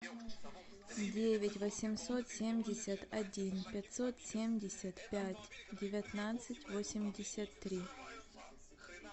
девять восемьсот семьдесят один пятьсот семьдесят пять девятнадцать восемьдесят три